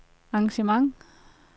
engagement